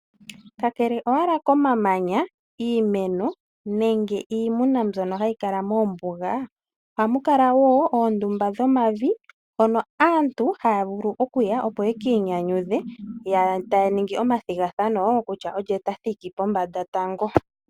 Kakele owala komamanya, iimeno nenge iimuna mbyono hayi kala moombuga ohamu kala woo oondumba dhomavi hono aantu haya vulu okuya opo yekiinyanyudhe taya ningi omathigathano kutya olye tathiki pombanda tango.